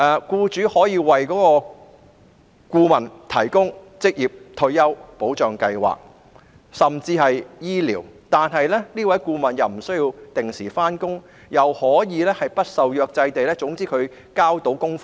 僱主可以為顧問提供職業退休保障及醫療福利，但他們不需要按時上班，只需要完成所指派的工作。